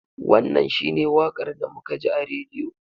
Wannan shi ne wakar da muka ji a radiyo.